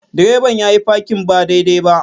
Direban yayi parking ba daidai ba.